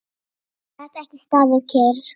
Gat ekki staðið kyrr.